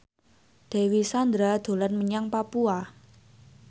Dewi Sandra dolan menyang Papua